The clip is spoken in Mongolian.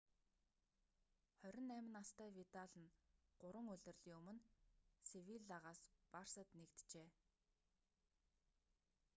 28 настай видал нь гурван улирлын өмнө севиллагаас барсад нэгджээ